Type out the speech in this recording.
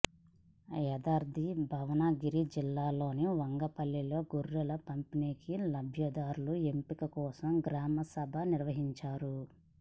యాదాద్రి భువనగిరి జిల్లాలోని వంగపల్లిలో గొర్రెల పంపిణీకి లబ్ధిదారుల ఎంపిక కోసం గ్రామసభ నిర్వహించారు